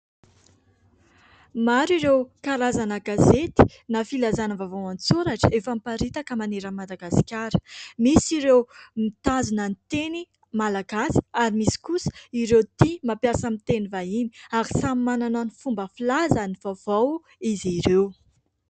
Maro ireo karazana gazety na filazàna vaovao an-tsoratra efa miparitaka manerana an'ny Madagasikara. Misy ireo mitazona ny teny malagasy ary misy kosa ireo tia mampiasa miteny vahiny ary samy manana ny fomba filaza ny vaovao izy ireo.